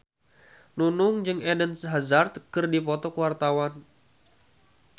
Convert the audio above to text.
Nunung jeung Eden Hazard keur dipoto ku wartawan